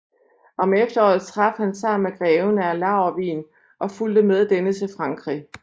Om efteråret traf han sammen med greven af Laurwigen og fulgte med denne til Frankrig